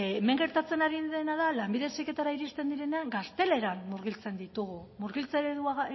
hemen gertatzen ari dena da lanbide heziketara iristen direnean gazteleran murgiltzen ditugu murgiltze eredua